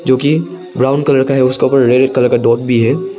जो कि brown colour का है उसके ऊपर रेड कलर का डॉट भी है।